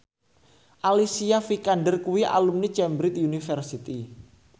Alicia Vikander kuwi alumni Cambridge University